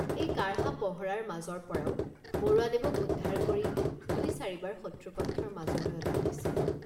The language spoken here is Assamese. এই কাঢ়া পহৰাৰ মাজৰপৰাও বৰুৱাদেৱক উদ্ধাৰ কৰি দুইচাৰিবাৰ শত্ৰুপক্ষৰ মাজলৈ অনা হৈছিল।